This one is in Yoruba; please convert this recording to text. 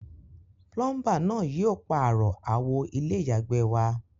Plumber náà yio pààro àwo ilé ìyàgbẹ́ wa